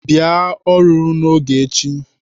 Bịa ọrụ n'oge echi!